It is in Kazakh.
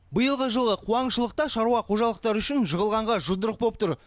биылғы жылы қуаңшылық та шаруа қожалықтары үшін жығылғанға жұдырық боп тұр